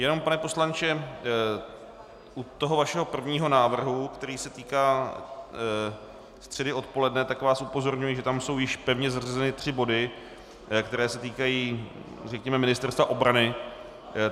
Jenom pane poslanče, u toho vašeho prvního návrhu, který se týká středy odpoledne, tak vás upozorňuji, že tam jsou již pevně zařazeny tři body, které se týkají, řekněme, Ministerstva obrany.